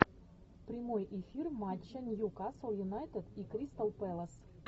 прямой эфир матча ньюкасл юнайтед и кристал пэлас